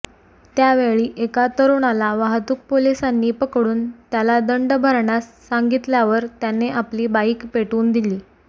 त्यावेळी एका तरुणाला वाहतूक पोलिसांनी पकडून त्याला दंड भरण्यास सांगितल्यावर त्याने आपली बाईक पेटवून दिली